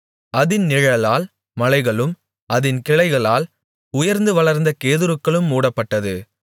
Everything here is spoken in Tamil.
அதின் நிழலால் மலைகளும் அதின் கிளைகளால் உயர்ந்து வளர்ந்த கேதுருக்களும் மூடப்பட்டது